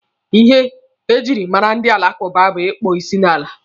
Ihe ejiri mara ndị alakụba bụ ịkpọ isi n'ala.